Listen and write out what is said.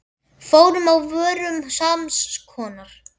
Form á vörum sams konar.